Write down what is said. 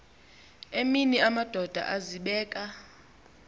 emini amadoda azibeka